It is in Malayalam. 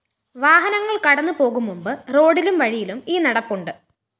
വാഹനങ്ങള്‍ കടന്നുപോകും മുന്‍പ് റോഡിലും വഴിയിലും ഈ നടപ്പുണ്ട്